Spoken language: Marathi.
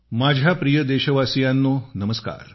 माझ्या प्रिय देशवासियांनो नमस्कार